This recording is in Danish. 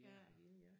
Ærtegilde ja